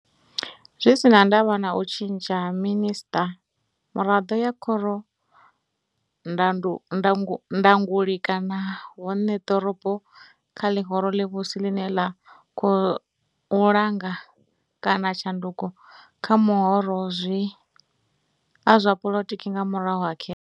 Zwi si na ndavha na u tshintsha ha Minisṱa, Miraḓo ya Khoro Ndanguli kana Vhoṋe ḓorobo kha ḽihoro ḽivhusi ḽine ḽa khou langula, kana tshanduko kha mahoro a zwa poḽotiki nga murahu ha khetho.